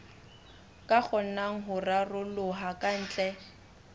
ka kgonang ho raroloha kantle